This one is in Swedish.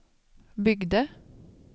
byggde